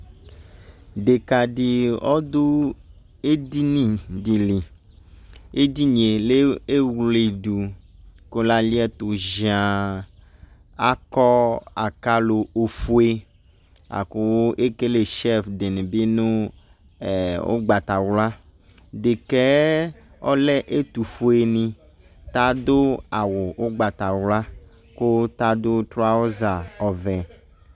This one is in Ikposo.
Ɖeka de ɔdo edidi de liEdinie te wledo ko la liɛto dzianAkɔ akalo ofue ɛɛ la ko le Kele shelves de ne be no ɛɛ ugbatawla, Dekɛɛ ɔlɛ etofue ne Ta do awu ugbatawɔa ko ta do trauza ɔvɛ